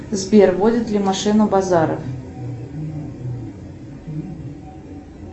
сбер водит ли машину базаров